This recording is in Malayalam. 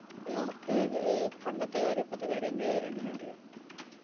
അനക്ക് ഏർ പണ്ടത്തെ കാര്യ ഇപ്പോത്തെ കാര്യവും എന്ത് ഏർ എങ്ങനെയാ അറിയാ